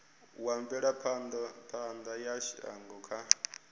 wa mvelaphana ya shango kha